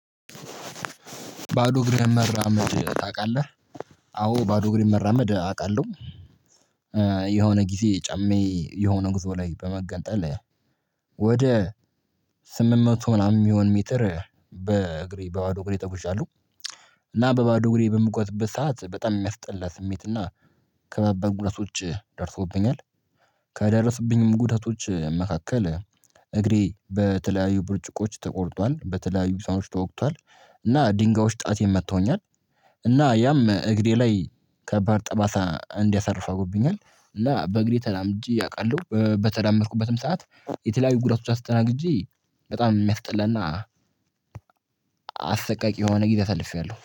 ባዶ እግርህን መራመድ ታቃለህ አወ ባዶ እግሬን መራመድ አቃለሁ የሆነ ጊዜ ጫማየ የሆነ ጉዞ ላይ በመገንጠል ወደ ስምንት መቶ ምናምን የሚሆን ሜትር በግሬ በባዶ እግሬ ተጉዣለሁ እና በባዶ እግሬ በምጓዝበት ሰዓት በጣም የሚያስጠላ ስሜት እና ከባባድ ጉዳቶች ደርሶብኛል ከደረሱብኝም ጉዳቶች መካከል እግሬ በተለየዩ ብርጭቆወች ተቆርቷል በተለያዩ ብሳኖች ተወግቷል እና ድንጋዮች ጣቴን መተውኛል ያም እግሬ ላይ ከባድ ጠባሳ እንዲያሳርፍ አርጎብኛል እና በእግሬ ተራምጄ አቃለሁ በተራመድኩበትም ሰዓት የተለያዩ ጉዳቶች አስተናግጄ በጣም የሚያስጠላ እና አሰቃቂ የሆነ ጊዜ አሳልፌያለሁ።